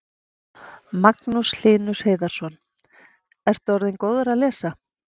Magnús Hlynur Hreiðarsson: Ertu orðinn góður að lesa?